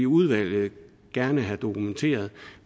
udvalget gerne vil have dokumenteret